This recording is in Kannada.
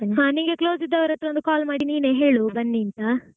ಹಾ ನಿಂಗೆ close ಇದ್ದವರ ಹತ್ರ call ಮಾಡಿ ನೀನೇ ಹೇಳು ಬನ್ನಿಂತ.